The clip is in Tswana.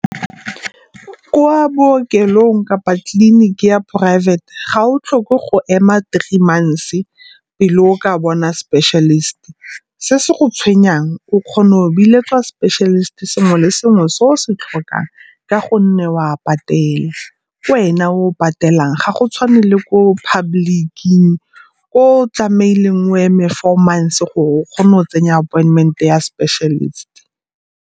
Kwa bookelong kapa tleliniki ya poraefete ga o tlhoke go ema three months pele o ka bona specialist. Se se go tshwenyang o kgona go biletswa specialist sengwe le sengwe se o se tlhokang ka gonne o a patela. Ke wena o o patelang, ga go tshwane le ko public-king ko o tlamehileng o eme four months gore o kgone o tsenya appointment ya specialist.